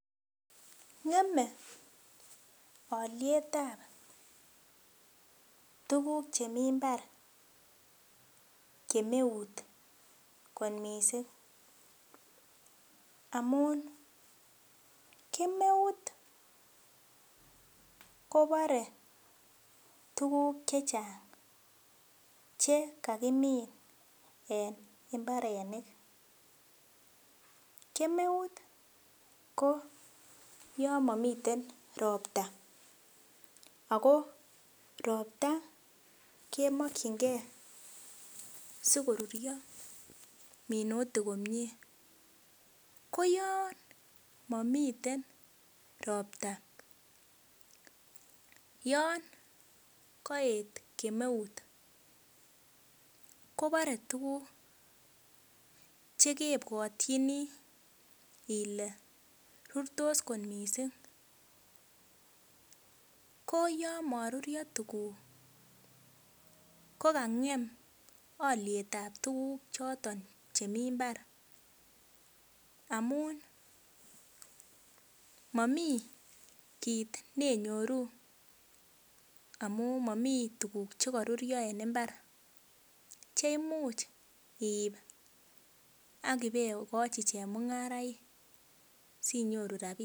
Ng'eme alyetab tuguk chemi mbar kemeut kot missing, amun kemeut kobore tuguk chechang chekakimin en mbarenik, kemeut ko yon momiten ropta ako ropta kemokyinge sikorurio minutik komie, koyon momiten ropta yon koet kemeut kobore tuguk chekebwotchini ile rurtos kot missing koyon morurio tuguk ko kang'em alyetab tuguk chochemi mbar amun momii kit nenyoru amun momii tuguk chekorurio en mbar cheimuch iip akibekochi chemung'araik sinyoru rapinik.